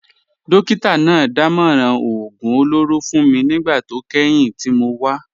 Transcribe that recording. Dókítà náà dámọ̀ràn oògùn olóró fún mi nígbà tó kẹ́yìn tí mo wá